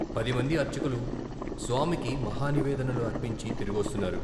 పదిమంది అర్చకులు స్వామికి మహానివేదనలు అర్పించి తిరిగొస్తున్నారు.